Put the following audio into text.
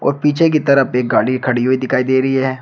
पीछे की तरफ एक गाड़ी खड़ी हुई दिखाई दे रही है।